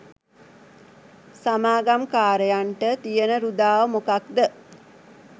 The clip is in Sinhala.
සමාගම් කාරයන්ට තියන රුදාව මොකක්ද?